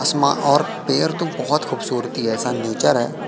आसमा और पेड़ तो बहोत खूबसूरती है ऐसा नेचर है।